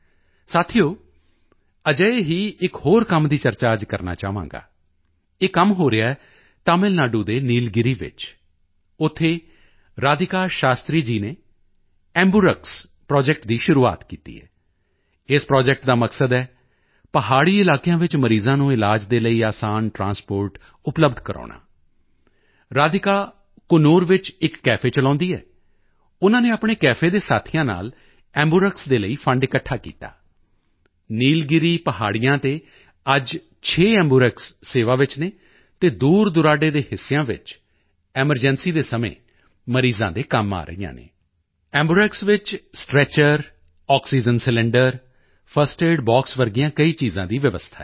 ਸਾਥੀਓ ਅਜਿਹੇ ਹੀ ਇੱਕ ਹੋਰ ਕੰਮ ਦੀ ਚਰਚਾ ਅੱਜ ਕਰਨਾ ਚਾਹਾਂਗਾ ਇਹ ਕੰਮ ਹੋ ਰਿਹਾ ਤਮਿਲ ਨਾਡੂ ਦੇ ਨੀਲਗਿਰੀ ਵਿੱਚ ਉੱਥੇ ਰਾਧਿਕਾ ਸ਼ਾਸਤਰੀ ਜੀ ਨੇ ਐਂਬਰਕਸ ਐਂਬੂਰੈਕਸ ਪ੍ਰੋਜੈਕਟ ਦੀ ਸ਼ੁਰੂਆਤ ਕੀਤੀ ਹੈ ਇਸ ਪ੍ਰੋਜੈਕਟ ਦਾ ਮਕਸਦ ਹੈ ਪਹਾੜੀ ਇਲਾਕਿਆਂ ਵਿੱਚ ਮਰੀਜ਼ਾਂ ਨੂੰ ਇਲਾਜ ਦੇ ਲਈ ਅਸਾਨ ਟ੍ਰਾਂਸਪੋਰਟ ਉਪਲੱਬਧ ਕਰਵਾਉਣਾ ਰਾਧਿਕਾ ਕੁੰਨੂਰ ਵਿੱਚ ਇੱਕ ਕੇਫ ਚਲਾਉਂਦੀ ਹੈ ਉਨ੍ਹਾਂ ਨੇ ਆਪਣੇ ਕੇਫ ਦੇ ਸਾਥੀਆਂ ਨਾਲ ਐਂਬਰਕਸ ਦੇ ਲਈ ਫੰਡ ਇਕੱਠਾ ਕੀਤਾ ਨੀਲਗਿਰੀ ਪਹਾੜੀਆਂ ਤੇ ਅੱਜ 6 ਐਂਬਰਕਸ ਸੇਵਾ ਵਿੱਚ ਹਨ ਅਤੇ ਦੂਰਦੁਰਾਡੇ ਦੇ ਹਿੱਸਿਆਂ ਵਿੱਚ ਐਮਰਜੈਂਸੀ ਦੇ ਸਮੇਂ ਮਰੀਜ਼ਾਂ ਦੇ ਕੰਮ ਆ ਰਹੀਆਂ ਹਨ ਐਂਬੂਰੈਕਸ ਵਿੱਚ stretcher oxygen cylinder first aid box ਵਰਗੀਆਂ ਕਈ ਚੀਜ਼ਾਂ ਦੀ ਵਿਵਸਥਾ ਹੈ